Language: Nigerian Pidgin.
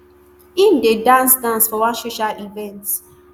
im dey dance dance for one social event